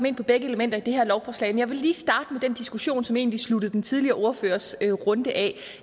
ind på begge elementer i det her lovforslag men jeg vil lige starte med den diskussion som egentlig sluttede den tidligere ordførers runde af